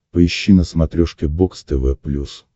поищи на смотрешке бокс тв плюс